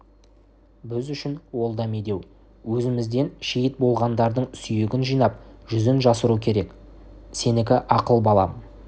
біз үшін ол да медеу өзімізден шейіт болғандардың сүйегін жинап жүзін жасыру керек сенікі ақыл балам